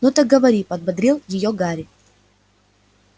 ну так говори подбодрил её гарри